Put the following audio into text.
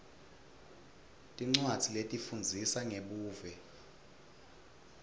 tincwadzi letifundzisa ngebuve